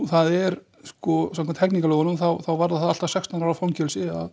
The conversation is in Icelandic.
það er sko samkvæmt lögum varðar allt að sextán ára fangelsi að